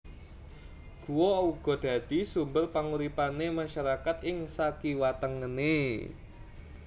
Guwa uga dadi sumber panguripanè masyarakat ing sakiwatengené